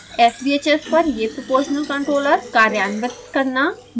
sbhs पर यह proportional controller कार्यान्वित करना